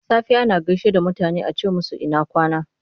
Da safe ana gaishe da mutane a ce musu ina kwana?